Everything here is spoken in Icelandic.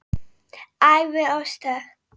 Ævi og störf